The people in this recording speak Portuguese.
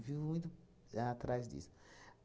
Vivo muito atrás disso.